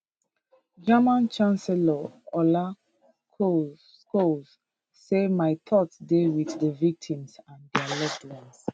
german chancellor olaf scholz say my thoughts dey wit di victims and dia loved ones